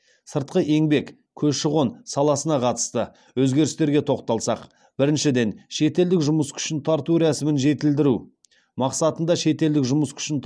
сыртқы еңбек көші қон саласына қатысты өзгерістерге тоқталсақ біріншіден шетелдік жұмыс күшін тарту рәсімін жетілдіру мақсатында шетелдік жұмыс күшін